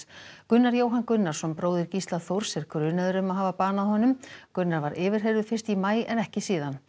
Gunnar Jóhann Gunnarsson bróðir Gísla Þórs er grunaður um að hafa banað honum Gunnar var yfirheyrður fyrsta maí en ekki síðan